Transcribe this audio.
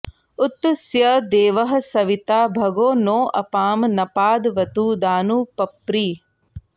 उत स्य देवः सविता भगो नोऽपां नपादवतु दानु पप्रिः